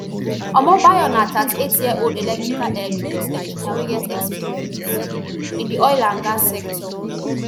omobayo na thirty-eightyearold electrical electronics engineer wey get experience in di oil and gas sector